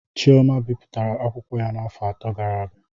Chioma bipụtara akwụkwọ ya afọ atọ gara aga